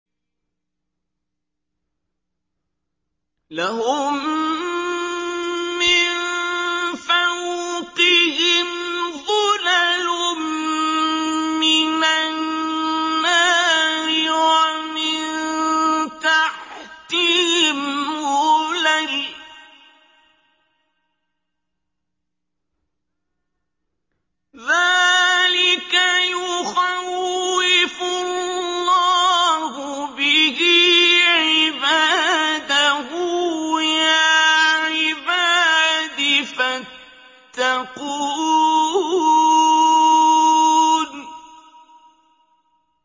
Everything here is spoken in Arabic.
لَهُم مِّن فَوْقِهِمْ ظُلَلٌ مِّنَ النَّارِ وَمِن تَحْتِهِمْ ظُلَلٌ ۚ ذَٰلِكَ يُخَوِّفُ اللَّهُ بِهِ عِبَادَهُ ۚ يَا عِبَادِ فَاتَّقُونِ